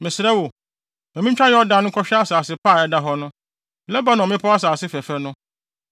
Mesrɛ wo, ma mintwa Yordan nkɔhwɛ asase pa a ɛda hɔ no, Lebanon mmepɔw asase fɛfɛ no.”